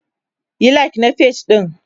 Yi like na page ɗin!.